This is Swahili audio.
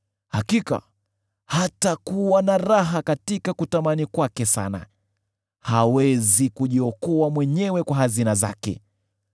“Hakika hatakuwa na raha katika kutamani kwake sana; hawezi kujiokoa mwenyewe kwa hazina zake.